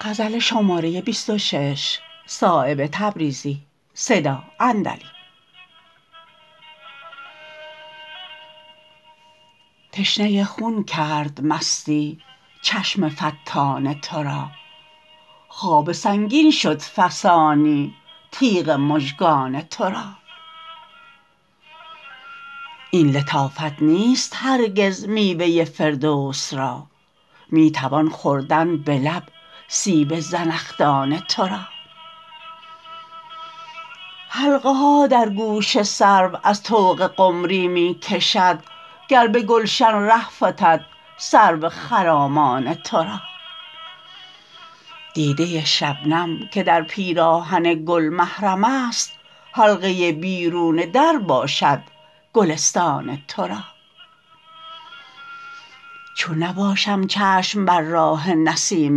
تشنه خون کرد مستی چشم فتان ترا خواب سنگین شد فسانی تیغ مژگان ترا این لطافت نیست هرگز میوه فردوس را می توان خوردن به لب سیب زنخدان ترا حلقه ها در گوش سرو از طوق قمری می کشد گر به گلشن ره فتد سرو خرامان ترا دیده شبنم که در پیراهن گل محرم است حلقه بیرون در باشد گلستان ترا چون نباشم چشم بر راه نسیم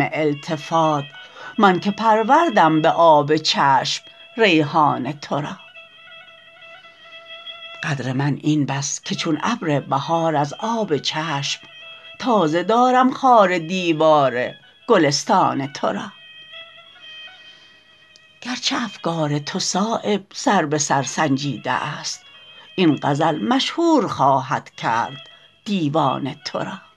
التفات من که پروردم به آب چشم ریحان ترا قدر من این بس که چون ابر بهار از آب چشم تازه دارم خار دیوار گلستان ترا گرچه افکار تو صایب سر به سر سنجیده است این غزل مشهور خواهد کرد دیوان ترا